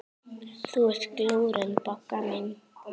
Þú ert glúrin, Bogga mín.